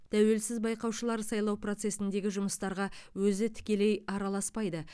тәуелсіз байқаушылар сайлау процесіндегі жұмыстарға өзі тікелей араласпайды